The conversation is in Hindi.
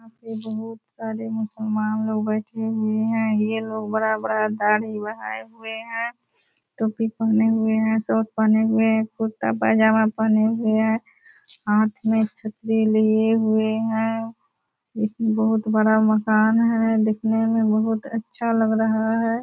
यहाँ पे बहुत सारे मुस्लमान लोग बेठे हुए हैं ये लोग बड़ा-बड़ा दाढ़ी बढ़ायें हुए हैं टोपी पहने हुए हैं सूट पहने हुए हैं कुर्ता-पजामा पहने हुए हैं हाथ में छतरी लिए हुए हैं इसमें बहुत बड़ा मकान है दिखने में बहुत अच्छा लग रहा है ।